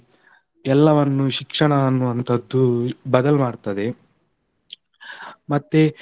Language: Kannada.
ಎಲ್ಲವನ್ನು ಶಿಕ್ಷಣ ಅನ್ನುವಂತದ್ದುಬದಲು ಮಾಡ್ತದೆ, ಮತ್ತೆ.